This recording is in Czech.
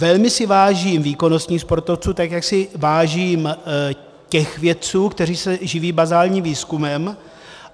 Velmi si vážím výkonnostních sportovců, tak jak si vážím těch vědců, kteří se živí bazálním výzkumem.